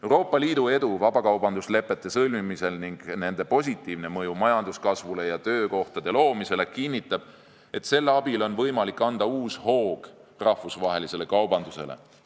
Euroopa Liidu edu vabakaubanduslepete sõlmimisel ning nende positiivne mõju majanduskasvule ja töökohtade loomisele kinnitab, et nende abil on võimalik anda uus hoog rahvusvahelisele kaubandusele.